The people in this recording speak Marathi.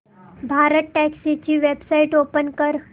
भारतटॅक्सी ची वेबसाइट ओपन कर